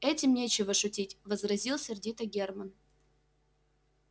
этим нечего шутить возразил сердито германн